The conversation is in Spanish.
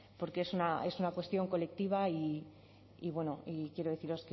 porque es una cuestión colectiva y quiero deciros